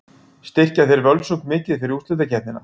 Styrkja þeir Völsung mikið fyrir úrslitakeppnina?